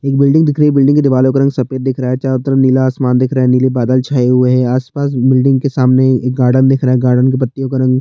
एक बिल्डिंग दिख रही है बिल्डिंग के दीवालों का रंग सफ़ेद दिख रहा है चारो तरफ नीला आसमान दिख रहा है नीले बादल छाए हुए है आसपास बिल्डिंग के सामने एक गार्डन दिख रहा है गार्डन के पत्तियों का रंग-